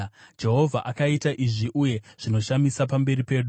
Jehovha akaita izvi, uye zvinoshamisa pamberi pedu.